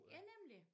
Ja nemlig